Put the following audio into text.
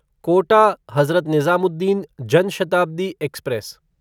Kota Hazrat Nizamuddin Jan Shatabdi express